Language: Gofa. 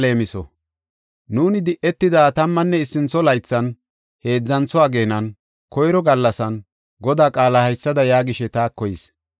Nuuni di7etida tammanne issintho laythan, heedzantho ageenan, koyro gallasan, Godaa qaalay haysada yaagishe taako yis.